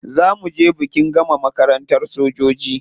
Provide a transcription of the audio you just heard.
Za mu je bikin gama makarantar sojoji.